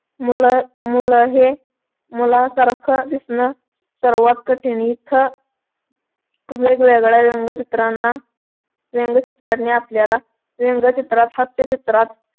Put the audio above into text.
मुल मुल हे मुलासारख दिसण सर्वात कठीण इथं वेगवेगळ्या चित्रांना व्यंगचित्रांनी आपल्याला व्यंगचित्रात हास्यचित्रात